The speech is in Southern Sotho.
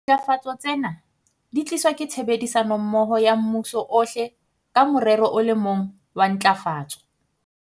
Dintlafatso tsena di tliswa ke tshebedisanommoho ya mmuso ohle ka morero o le mong wa ntlafatso.